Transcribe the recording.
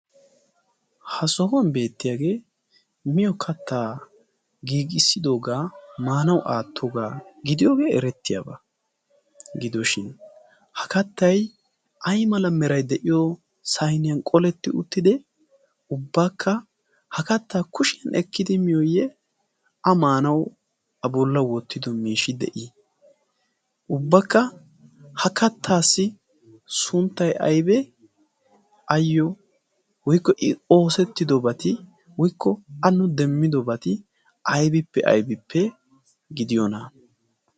ha sohuwan beettiyaagee miyo kattaa giigissidoogaa maanawu aattoogaa gidiyoogee erettiyaabaa gidooshin ha kattay ay mala meray de'iyo sayniyan qoletti uttide ubbaakka ha kattaa kushiyan ekkidi miyooyye a maanawu a bolla wottido miishi de'ii ubbaakka ha kattaassi sunttay aybe ayyo woykko i oosettidobati woykko a nu demmidobati aybippe aybippe gidiyoona?